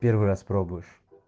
первый раз пробуешь